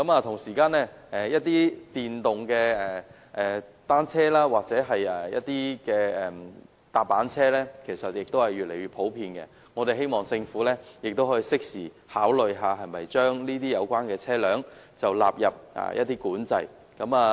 同時，一些電動單車或踏板車也越來越普遍，希望政府能夠適時考慮是否把有關車輛納入管制範圍。